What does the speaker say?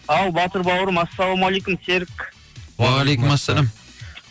ал батыр бауырым ассалаумалейкум серік уағалейкумассәләм